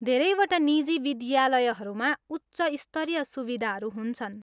धेरैवटा निजी विद्यालयहरूमा उच्च स्तरीय सुविधाहरू हुन्छन्।